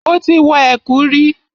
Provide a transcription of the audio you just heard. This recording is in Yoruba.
Mo ti wọ ẹ̀kú rí.